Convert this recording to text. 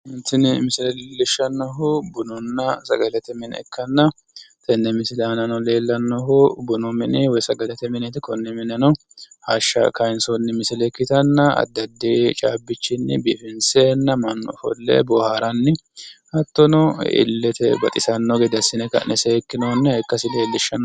Tini misile leellishannohu bununna sagalete mine ikkanna tenne misile aanano leellannohu bunu mini woyi sagalete mineeti konne mineno hashsha kayinsoonni misile ikkitanna addi addi caabbichinni biifinseenna mannu ofolle boohaaranni hattono illete baxisanno gede assine ka'ne seekkinoonniha ikkasi leellishanno.